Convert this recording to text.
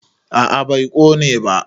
a a bai Kone ba